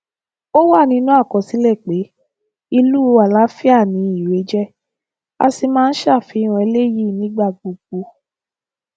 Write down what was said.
ó wà nínú àkọsílẹ pé ìlú àlàáfíà ni irèé jẹ a sì máa ń ṣàfihàn eléyìí nígbà gbogbo